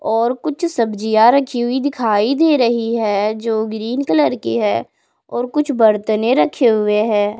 और कुछ सब्जियां रखी हुई दिखाई दे रही है जो ग्रीन कलर की है और कुछ बर्तने रखे हुए हैं।